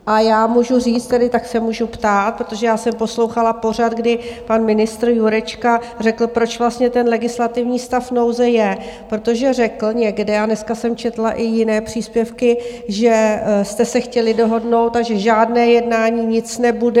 A já můžu říct tedy, tak se můžu ptát, protože já jsem poslouchala pořad, kdy pan ministr Jurečka řekl, proč vlastně ten legislativní stav nouze je, protože řekl někde, a dneska jsem četla i jiné příspěvky, že jste se chtěli dohodnout a že žádné jednání, nic nebude.